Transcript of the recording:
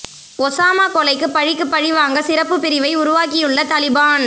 Osama கொலைக்கு பழிக்குப் பழி வாங்க சிறப்புப் பிரிவை உருவாக்கியுள்ள தலிபான்